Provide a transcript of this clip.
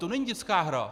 To není dětská hra.